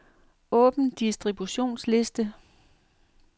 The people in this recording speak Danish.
Åbn distributionsliste.